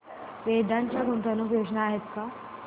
वेदांत च्या गुंतवणूक योजना आहेत का